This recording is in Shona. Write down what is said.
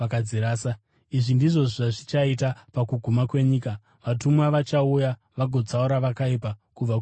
Izvi ndizvo zvazvichaita pakuguma kwenyika. Vatumwa vachauya vagotsaura vakaipa kubva kune vakarurama,